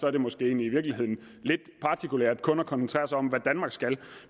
er det måske i virkeligheden lidt partikulært kun at koncentrere sig om hvad danmark skal